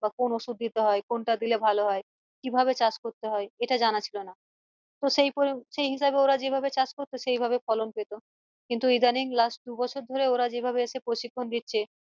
বা কোন ওষুধ দিতে হয় হয় কিভাবে চাষ করতে হয় এটা জানা ছিল না তো সেই পড়ি সেই হিসাবে ওরা যেভাবে চাষ করতো সেইভাবে ফলন পেত কিন্তু ইদানিং last দুবছর ধরে ওরা যেভাবে এসে প্রশিক্ষণ দিচ্ছে